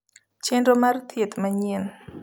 Chenro mar thieth manyien